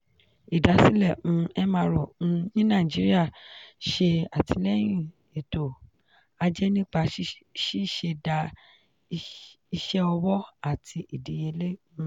idasile um mro um ni nigeria ṣe atilẹyin eto-aje nipa ṣiṣẹda iṣẹ owo ati idiyele. um